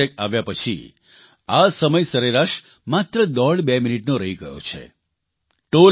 પરંતુ ફાસ્ટેગ આવ્યા પછી આ સમય સરેરાશ માત્ર દોઢ બે મિનીટનો રહી ગયો છે